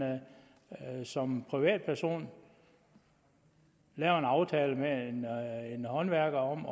som privatperson laver en aftale med en håndværker om